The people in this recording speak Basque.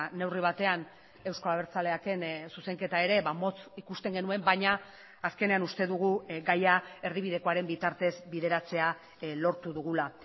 neurri batean eusko abertzaleaken zuzenketa ere motz ikusten genuen baina azkenean uste dugu gaia erdibidekoaren bitartez bideratzea lortu dugula